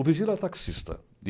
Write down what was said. O Virgílio era taxista.